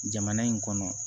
Jamana in kɔnɔ